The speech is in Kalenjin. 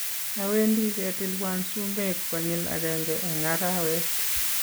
awendi ketilwan sumek konyil agenge eng' arawet